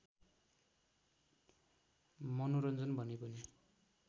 मनोरञ्जन भने पनि